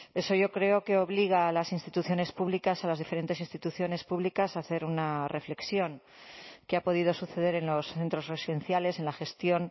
eso yo creo que obliga a las instituciones públicas a las diferentes instituciones públicas a hacer una reflexión qué ha podido suceder en los centros residenciales en la gestión